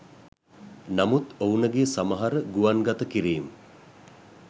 නමුත් ඔවුනගේ සමහර ගුවන්ගත කිරීම්